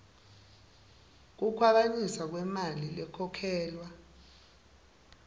kukhwabanisa kwemali lekhokhelwa